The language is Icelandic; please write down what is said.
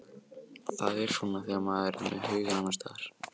Það er svona þegar maður er með hugann annars staðar.